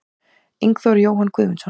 Ingþór Jóhann Guðmundsson